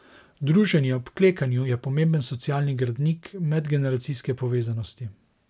Druženje ob klekljanju je pomemben socialni gradnik medgeneracijske povezanosti.